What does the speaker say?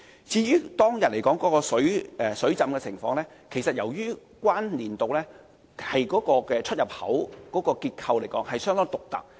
至於當天的水浸情況，其實是由於海怡半島站出入口的結構相當獨特。